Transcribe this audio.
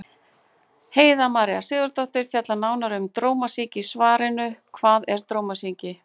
Heiða María Sigurðardóttir fjallar nánar um drómasýki í svarinu Hvað er drómasýki?